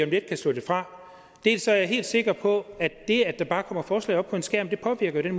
lidt kan slå det fra dels er jeg helt sikker på at det at der bare kommer forslag op på en skærm påvirker den